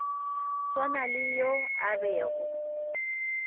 swana le yo a bego